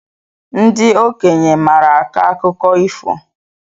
Ndị okenye maara akọ akụkọ ifo